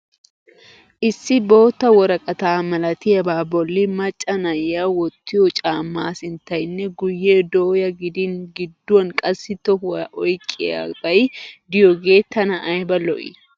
Issi bootta woraqata malatiyaabaa bolli macca naai wottiyo caammaa sinttaynne guyyee dooya gidin gidduwan qassi tohuwa oyiqqiyaabay diyogee tana ayiba lo'i!